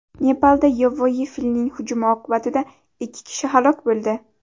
Nepalda yovvoyi filning hujumi oqibatida ikki kishi halok bo‘ldi.